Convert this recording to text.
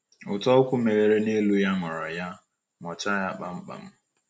Ụ́tọ̀ ukwu meghere n’elu ya, ṅụọrọ ya, ṅụọchaa ya kpamkpam!